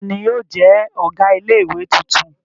Ta ni yóò jẹ́ ọ̀gá ilé-ìwé tuntun?